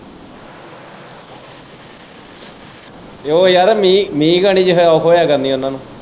ਤੇ ਓ ਯਾਰ ਮੀਂਹ ਘਣੀ ਚ ਔਖ ਹੋਇਆ ਕਰਨੀ ਉਨਾਂ ਨੂੰ।